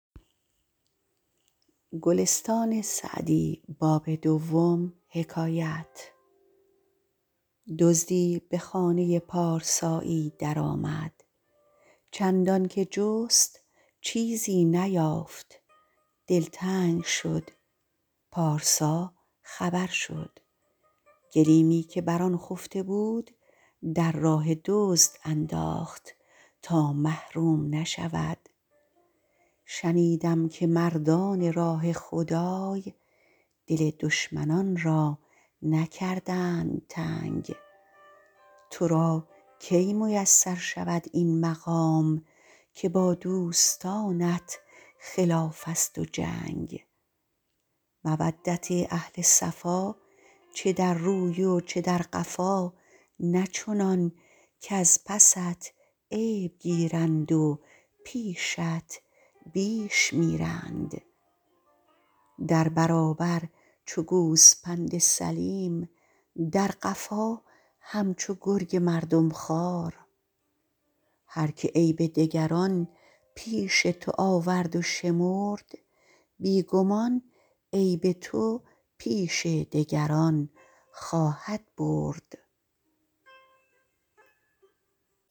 دزدی به خانه پارسایی در آمد چندان که جست چیزی نیافت دلتنگ شد پارسا خبر شد گلیمی که بر آن خفته بود در راه دزد انداخت تا محروم نشود شنیدم که مردان راه خدای دل دشمنان را نکردند تنگ تو را کی میسر شود این مقام که با دوستانت خلاف است و جنگ مودت اهل صفا چه در روی و چه در قفا نه چنان کز پست عیب گیرند و پیشت بیش میرند در برابر چو گوسپند سلیم در قفا همچو گرگ مردم خوار هر که عیب دگران پیش تو آورد و شمرد بی گمان عیب تو پیش دگران خواهد برد